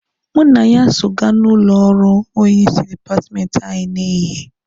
Mụ na ya so gaa n'ụlọ ọrụ onye isi dipatmenti anyị n'ehihie.